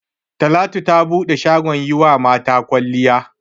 Talatu ta bude shagon yi wa mata kwalliya.